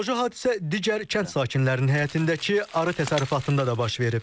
Analoji hadisə digər kənd sakinlərinin həyətindəki arı təsərrüfatında da baş verib.